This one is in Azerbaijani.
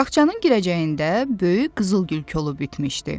Bağçanın girəcəyində böyük qızıl gül kolu bitmişdi.